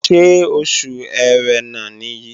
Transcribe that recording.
Ṣé Oṣù Ẹrẹ̀nà nìyí?